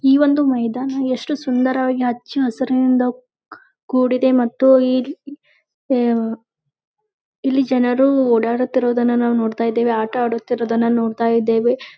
ಈ ಒಂದು ಮೈದಾನ ಎಷ್ಟು ಸುಂದರವಾಗಿ ಹಚ್ಚ ಹಸುರಿನಿಂದ ಕೂ ಕೂಡಿದೆ ಮತ್ತು ಈ ಇಲ್ಲಿ ಜನರು ಓಡಾಡುತ್ತಿರುವುದನ್ನ ನೋಡತಾ ಇದ್ದೇವೆ ಆಟ ಅಡುತ್ತಿರುವುದನ್ನ ನೋಡತಾ ಇದ್ದೇವೆ.